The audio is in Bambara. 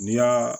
N'i y'a